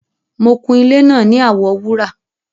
Mọ̀ kún ilẹ̀ náà ní àwọ wúrà